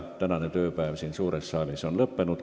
Tänane tööpäev siin suures saalis on lõppenud.